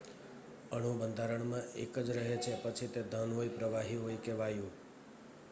અણુબંધારણ એક જ રહે છે પછી તે ઘન હોય પ્રવાહી હોય કે વાયુ